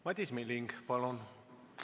Madis Milling, palun!